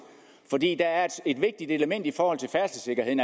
fordi der er et vigtigt element i forhold til færdselssikkerheden